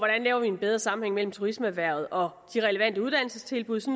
laver en bedre sammenhæng mellem turismeerhvervet og de relevante uddannelsestilbud så